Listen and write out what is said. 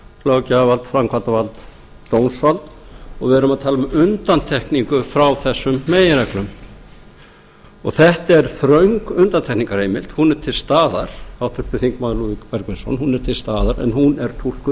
löggjafarvald framkvæmdarvald dómsvald og við erum að tala um undantekningu frá þessum meginreglum þetta er þröng undantekningarheimild hún er til staðar háttvirtir þingmenn lúðvík bergvinsson hún er til staðar en hún er túlkuð